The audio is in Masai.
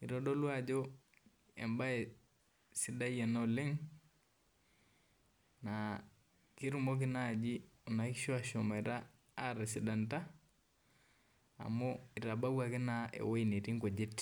eitodolu ajo embaye sidai ena oleng naa ketumoki naaji kuna kishu aashom atisidan amu eitabawuaki naa ewueji natii inkujit